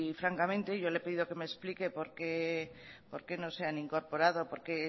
francamente yo le he pedido que me explique por qué no se han incorporado por qué